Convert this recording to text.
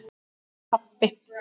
og pabbi.